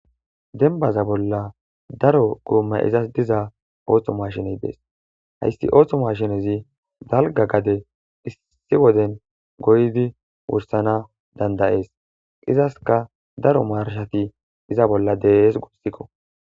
denbaza bolla daro guumma izas diza ooththo mashiney dees hayssi ooththo mashinezi dalga gade issi woden goydi wursana dandayees izaska daro marshati iza bolla dees guossikko